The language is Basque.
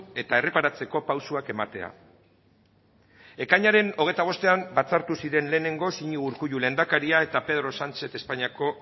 eta erreparatzeko pausoak ematea ekainaren hogeita bostean batzartu ziren lehenengoz iñigo urkullu lehendakaria eta pedro sánchez espainiako